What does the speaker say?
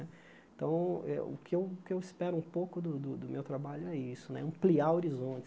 Então, eh o que eu o que eu espero um pouco do do do meu trabalho é isso né, ampliar